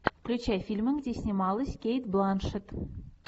включай фильмы где снималась кейт бланшетт